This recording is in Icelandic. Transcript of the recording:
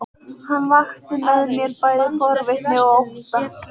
Hann vakti með mér bæði forvitni og ótta.